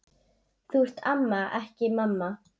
Þú ert amma, ekki mamma.